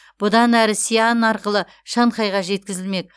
бұдан әрі сиань арқылы шанхайға жеткізілмек